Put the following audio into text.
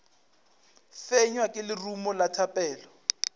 fenywa ke lerumo la thapelo